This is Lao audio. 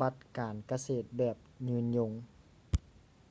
ບັດການກະເສດແບບຢືນຢົງ